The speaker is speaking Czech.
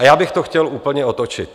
A já bych to chtěl úplně otočit.